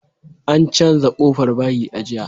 An canza ƙofar bayi a jiya